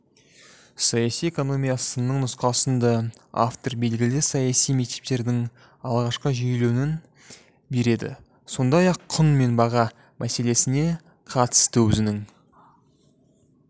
саяси экономия сынының нұсқасында автор белгілі саяси мектептердің алғашқы жүйеленуін береді сондай-ақ құн мен баға мәселесіне қатысты өзінің